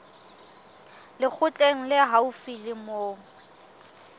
lekgotleng le haufi le moo